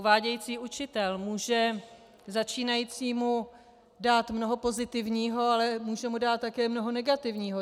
Uvádějící učitel může začínajícímu dát mnoho pozitivního, ale může mu dát také mnoho negativního.